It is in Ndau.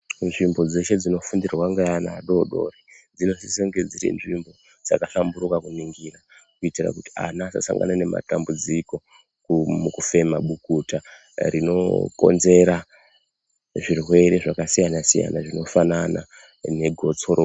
Zvimbo dzeshe dzinofundirwa ngaana adodori dzinosisa kunge dziri zvimbo dzakahlamburuka kuningira kuitira kuti ana asasangana nematambudziko mukufema bukuta rinokonzera zvirwere zvakasiyana siyana zvinofanana negotsorwa